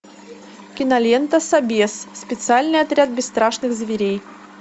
кинолента собес специальный отряд бесстрашных зверей